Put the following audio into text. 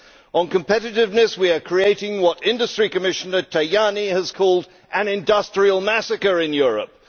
On competitiveness, we are creating what Industry Commissioner Tajani has called an industrial massacre in Europe.